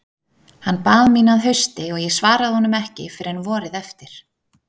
Hann bað mín að hausti og ég svaraði honum ekki fyrr en vorið eftir.